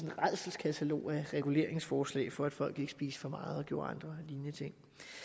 rædselskatalog af reguleringsforslag for at folk ikke spiste for meget og gjorde andre lignende ting